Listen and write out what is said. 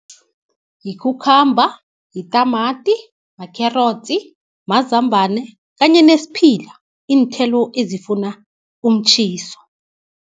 Yikhukhamba, yitamati, makherotsi, mazambane kanye nesiphila, iinthelo ezifuna umtjhiso.